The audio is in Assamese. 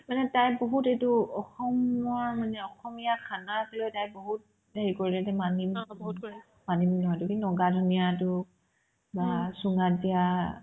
মানে তাই বহুত এইটো অসমৰ মানে অসমীয়া khana আছিলে তাই বহুত এই হেৰি কৰিলে দেই মানিমুনি মানিমুনি হয়তো সেইটো কি নহক মানধনীয়াতোক মাছ চুঙাত দিয়া